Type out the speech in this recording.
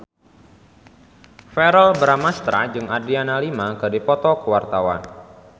Verrell Bramastra jeung Adriana Lima keur dipoto ku wartawan